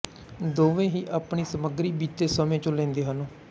ਦੋਵੇਂ ਹੀ ਆਪਣੀ ਸਮੱਗਰੀ ਬੀਤੇ ਸਮੇਂ ਚੋਂ ਲੈਂਦੇ ਹਨ